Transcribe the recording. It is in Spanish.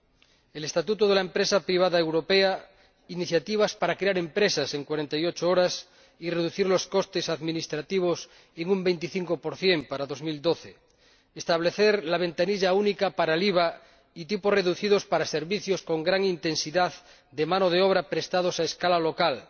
Van en esta dirección el estatuto de la empresa privada europea, las iniciativas destinadas a crear empresas en 48 horas, reducir los costes administrativos en un 25 para el año 2012, establecer la ventanilla única para el IVA y unos tipos reducidos para servicios con gran intensidad de mano de obra prestados a escala local,